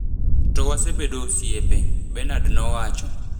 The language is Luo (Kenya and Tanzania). to wasebedo osiepe,” Benard nowacho.